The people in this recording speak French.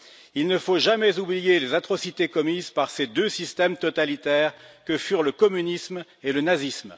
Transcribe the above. Il ne faut jamais oublier les atrocités commises par ces deux systèmes totalitaires que furent le communisme et le nazisme.